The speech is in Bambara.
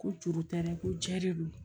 Ko juru tɛ dɛ ko jɛ de don